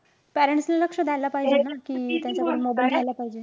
Parents नि लक्ष द्यायला पाहिजे ना.